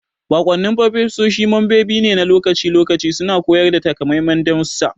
Baƙwannin furofesoshi membobi ne na lokaci-lokaci suna koyar da takamaiman darussa.